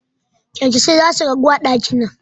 Kyankyasai zasu ragu a ɗakin nan